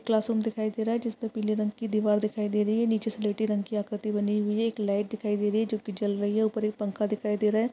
Classroom दिखाई दे रहा है जिस पर पीले रंग की दीवार दिखाई दे रही है। नीचे स्लेटी रंग की आकृति बनी हुई है। एक लाईट दिखाई दे रही है जो कि जल रही है ऊपर एक पंखा दिखाई दे रहा है।